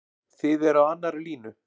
Þið eruð á annarri línu?